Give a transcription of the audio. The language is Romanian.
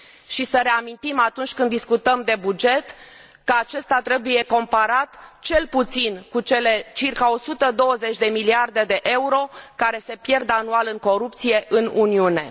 Și să reamintim, atunci când discutăm de buget, că acesta trebuie comparat cel puțin cu cele circa 120 de miliarde EUR care se pierd anual în corupție în Uniune.